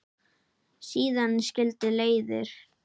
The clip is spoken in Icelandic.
Síðan skildi leiðir.